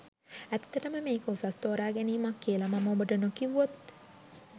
ඇත්තටම මේක උසස් තෝරාගැනීමක් කියල මම ඔබට නොකිව්වොත්